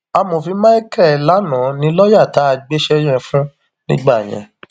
amòfin michael lana ni lọọyà tá a gbéṣẹ yẹn fún nígbà yẹn